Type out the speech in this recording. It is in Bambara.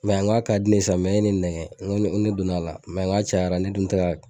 n k'a di ne ye san e ye ne nɛgɛ n ko n ko ne donn'a la n k'a cayara ne dun tɛ ka